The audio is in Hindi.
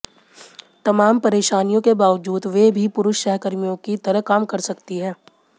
तमाम परेशानियों के बावजूद वे भी पुरुष सहकर्मियों की तरह काम कर सकती हैं